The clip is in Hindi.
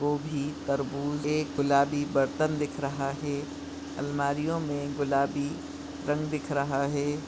गोबी तरबूज एक गुलाबी बर्तन दिख रहा है अलमारियों मे गुलाबी रंग दिख रहा है।